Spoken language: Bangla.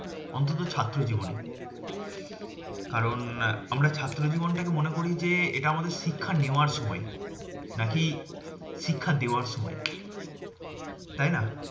অন্তত ছাত্র জীবনে। কারণ আমরা ছাত্র জীবন টাকে মনে করি যে, এটা আমাদের শিক্ষা নেওয়ার সময়। নাকি শিক্ষা দেওয়ার সময়, তাইনা?